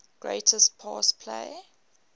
greatest pass play